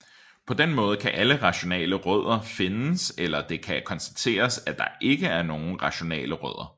På den måde kan alle rationale rødder findes eller det kan konstateres at der ikke er nogen rationale rødder